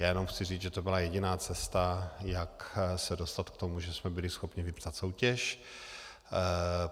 Já jenom chci říci, že to byla jediná cesta, jak se dostat k tomu, že jsme byli schopni vypsat soutěž.